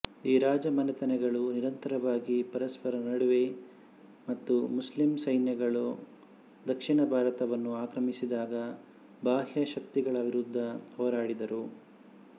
ಈ ರಾಜಮನೆತನಗಳು ನಿರಂತರವಾಗಿ ಪರಸ್ಪರ ನಡುವೆ ಮತ್ತು ಮುಸ್ಲಿಂ ಸೈನ್ಯಗಳು ದಕ್ಷಿಣ ಭಾರತವನ್ನು ಆಕ್ರಮಿಸಿದಾಗ ಬಾಹ್ಯ ಶಕ್ತಿಗಳ ವಿರುದ್ಧ ಹೋರಾಡಿದರು